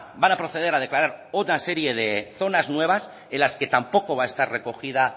van a proceder a declarar otra serie de zonas nuevas en las que tampoco va a estar recogida